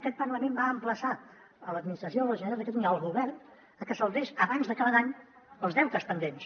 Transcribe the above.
aquest parlament va emplaçar l’administració de la generalitat de catalunya el govern perquè saldés abans d’acabar l’any els deutes pendents